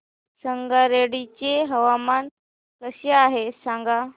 संगारेड्डी चे हवामान कसे आहे सांगा